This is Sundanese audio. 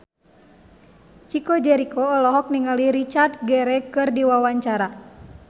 Chico Jericho olohok ningali Richard Gere keur diwawancara